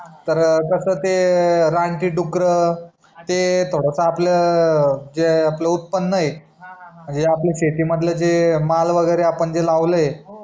तर कस ते रानटी डुकर ते थोडस आपल्या जे आपल उत्पन्न आहे जे आपल्या शेती मधल जे माल वगेरे आपण जे लावल आहे